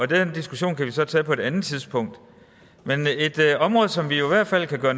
den diskussion kan vi så tage på et andet tidspunkt men noget som vi i hvert fald kan gøre